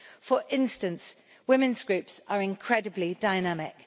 For instance, women's groups are incredibly dynamic.